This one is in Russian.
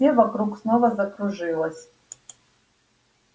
все вокруг снова закружилось